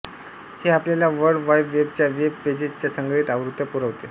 हे आपल्याला world wide वेबच्या वेब पेजेसच्या संग्रहित आवृत्त्या पुरवते